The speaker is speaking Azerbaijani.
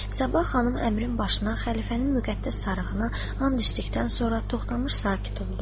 Sabah xanım əmrin başına xəlifənin müqəddəs sarığını and üstlükdən sonra toxtanmış sakit oldu.